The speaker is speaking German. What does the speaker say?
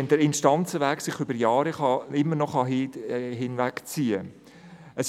sich der Instanzenweg immer noch über Jahre hinziehen kann.